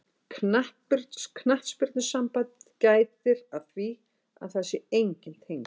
Knattspyrnusambandið gætir að því að það séu enginn tengsl.